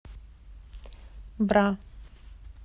бра